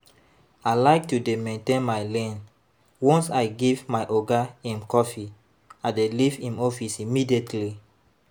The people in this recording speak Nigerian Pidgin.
I like to dey maintain my lane, once I give my oga im coffee I dey leave im office immediately